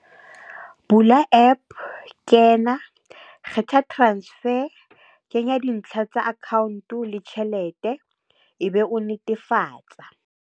Bula app, kena. Kgetha transfer, kenya dintlha tsa account le tjhelete, e be o netefatsa.